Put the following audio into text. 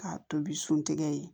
K'a tobi sun tɛgɛ ye